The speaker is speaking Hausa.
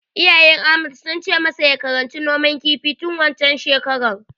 Iyayen Ahmad sun ce masa ya karanci noman kifi tun waccen shekarar.